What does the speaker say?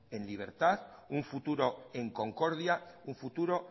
en libertad un futuro en concordia un futuro